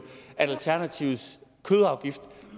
at alternativets kødafgift